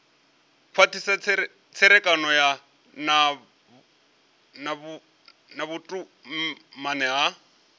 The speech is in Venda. khwathisa tserekano na vhutumani ya